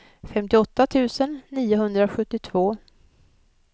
femtioåtta tusen niohundrasjuttiotvå